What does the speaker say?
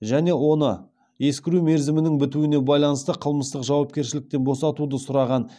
және оны ескіру мерзімінің бітуіне байланысты қылмыстық жауапкершіліктен босатуды сұраған